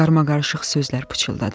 Qarışıq sözlər pıçıldadı.